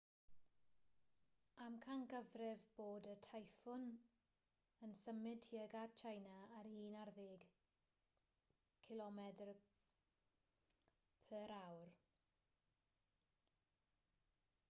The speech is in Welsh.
amcangyfrifir bod y teiffŵn yn symud tuag at tsieina ar un ar ddeg kph